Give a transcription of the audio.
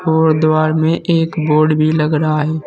और दीवार में एक बोर्ड भी लग रहा है।